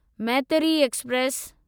Maitri express